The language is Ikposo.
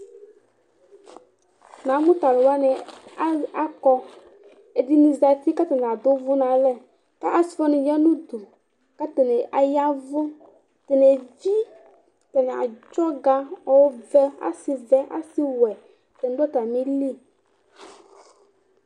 Namʋ tʋ alʋ wanɩ akɔ Ɛdɩnɩ zati kʋ atanɩ adʋ ʋvʋ nʋ alɛ kʋ asɩ wanɩ ya nʋ udu kʋ atanɩ aya ɛvʋ Atanɩ evi, atanɩ adzɔ ɔga, ɔvɛ, asɩvɛ, asɩwɛ, atanɩ dʋ atamɩli